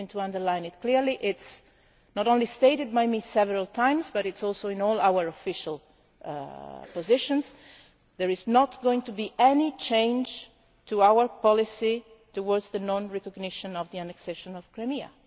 I am going to underline it clearly it has not only been stated by me several times but it is also in all our official positions. There is not going to be any change in our policy on the non recognition of the annexation of Crimea.